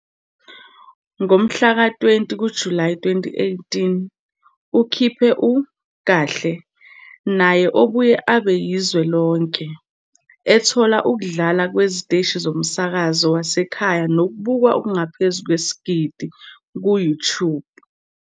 Ngomhlaka 20 kuJulayi 2018, ukhiphe u "Kahle" naye obuye abe yizwe lonke, ethola ukudlala kweziteshi zomsakazo wasekhaya nokubukwa okungaphezulu kwesigidi ku-YouTube.